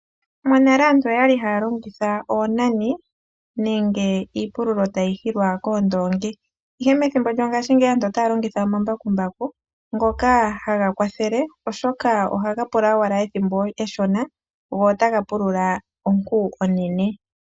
Monale aantu oya li ha ya longitha oonane nenge iipululo ta yi hilwa koondoongi, ihe methimbo lyongashingeyi aantu ota ya longitha omambakumbaku, ngoka ha ga kwathele oshoka oha ga pula owala ethimbo eshona go ota ga pulula onku onene.